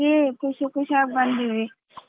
ಖುಷಿ ಖುಷಿಯಾಗಿ ಬಂದಿವಿ.